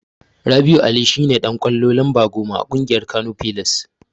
Rabi'u Ali shine Dan ƙwallo lamba goma a ƙungiyar Kano pillars.